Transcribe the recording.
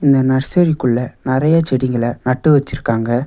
இந்த நர்சரிக்குள்ள நறைய செடிகள நட்டு வச்சிருக்காங்க.